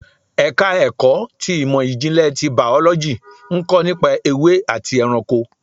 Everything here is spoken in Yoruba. Ẹ̀ka ẹ̀kọ́ ti ìmò ìjìnlẹ̀ tí Bàọ́lọ́jì ń kọ́ nípa ewé àti ẹranko.